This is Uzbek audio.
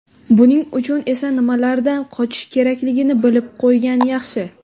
Buning uchun esa nimalardan qochish kerakligini bilib qo‘ygan yaxshi.